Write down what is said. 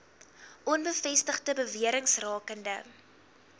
onbevestigde bewerings rakende